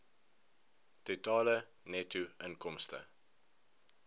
totale netto inkomste